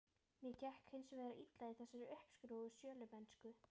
Mér gekk hins vegar illa í þessari uppskrúfuðu sölumennsku.